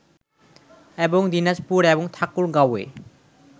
এবং দিনাজপুর এবং ঠাকুরগাঁওয়ে